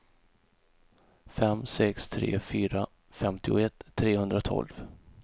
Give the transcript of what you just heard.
fem sex tre fyra femtioett trehundratolv